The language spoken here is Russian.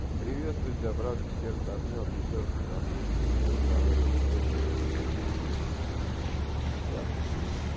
приветствую тебя братское сердце обнял пятёрку до хруста мира здоровья тебе и твоей семье и твоим близким брат я сплю